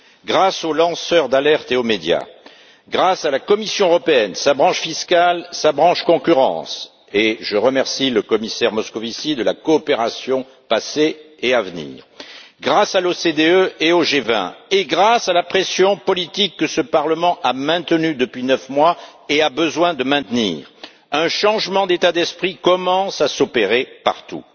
Grâce aux lanceurs d'alertes et aux médias, grâce à la Commission européenne sa branche fiscale et sa branche concurrence, et je remercie le commissaire Moscovici de la coopération passée et à venir grâce à l'OCDE et au G20 et grâce à la pression politique que ce Parlement a maintenue depuis 9 mois et a besoin de maintenir, un changement d'état d'esprit commence à s'opérer partout.